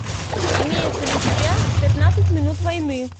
имеется ли у тебя пятнадцать минут войны